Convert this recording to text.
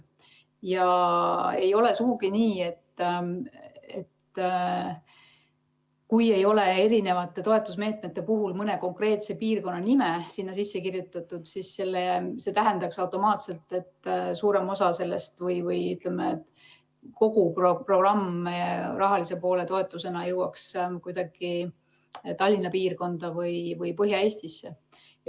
Ja ei ole sugugi nii, et kui ei ole erinevate toetusmeetmete puhul mõne konkreetse piirkonna nime sisse kirjutatud, siis see tähendab automaatselt, et suurem osa sellest rahast või kogu programmi raha jõuaks toetusena Tallinna piirkonda või Põhja-Eestisse.